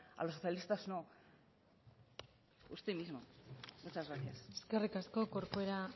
a los socialistas no usted mismo muchas gracias eskerrik asko corcuera